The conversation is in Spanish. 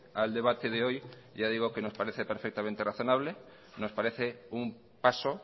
al debate de hoy ya digo que nos parece perfectamente razonable nos parece un paso